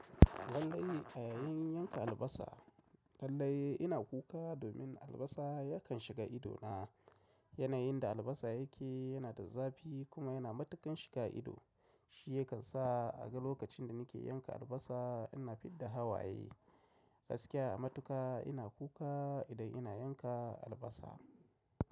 Lallai a yayin yanka albasa lallai ina kuka domin albasa yakan shiga ido na. Yanayin da albasa yake yana da zafi kuma yana matuƙan shiga ido, shi yakan sa a ga lokacin da nake yanka albasa ina fidda hawaye, gaskiya a matuka ina kuka idan ina yanka albasa.